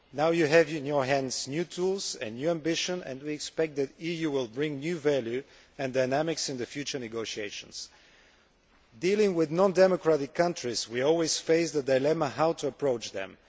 Now, you have in your hands new tools and new ambition and we expect the EU to bring new value and dynamics to the future negotiations. Dealing with non democratic countries, we always face the dilemma of how to approach them.